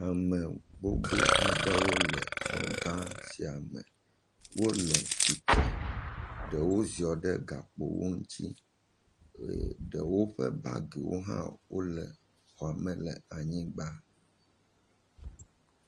Ame gbogbo aɖewo le xɔ ga sia me, wole tsitre, ɖewo ziɔ ɖe gakpo ŋuti eye ɖewo ƒe bagiwo hã wole xɔame le anyigba.